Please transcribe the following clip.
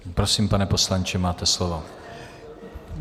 Prosím, pane poslanče, máte slovo.